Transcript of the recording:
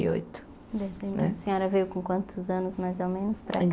E oito A senhora veio com quantos anos mais ou menos para